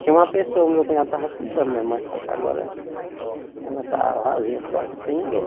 Tinha uma pessoa o meu cunhado estava cuidando né, mas só que agora ela está vazia sem ninguém.